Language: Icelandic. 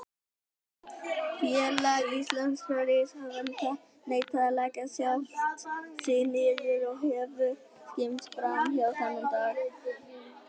Félag íslenskra rithöfunda neitaði að leggja sjálft sig niður og hefur skrimt frammá þennan dag.